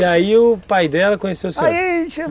E aí o pai dela conheceu o senhor? Aí